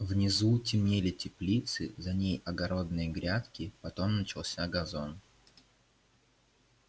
внизу темнели теплицы за ней огородные грядки потом начался газон